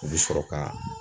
U bɛ sɔrɔ ka